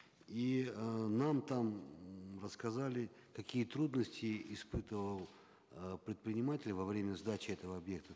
и э нам там рассказали какие трудности испытывал э предприниматель во время сдачи этого объекта